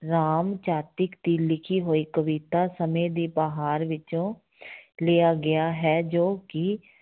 ਰਾਮ ਚਾਤ੍ਰਿਕ ਦੀ ਲਿਖੀ ਹੋਈ ਕਵਿਤਾ ਸਮੇਂ ਦੀ ਬਹਾਰ ਵਿੱਚੋਂ ਲਿਆ ਗਿਆ ਹੈ ਜੋ ਕਿ